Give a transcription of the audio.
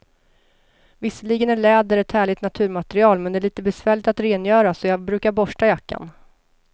Visserligen är läder ett härligt naturmaterial, men det är lite besvärligt att rengöra, så jag brukar borsta jackan.